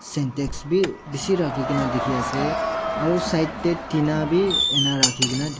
sentex bei beshi rakei kena dekhe ase aro side dena bhi ena rakhi kena.